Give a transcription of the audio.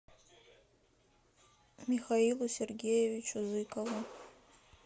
михаилу сергеевичу зыкову